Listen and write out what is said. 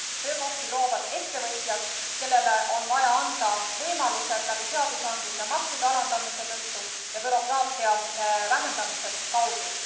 Töökohti loovad ettevõtjad, kellele on vaja anda võimalused läbi seadusandluse maksude alandamise ja bürokraatia vähendamise kaudu.